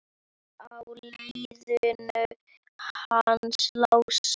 Á leiðinu hans Lása?